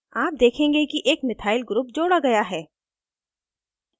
आप देखेंगे कि एक methyl group जोड़ा गया है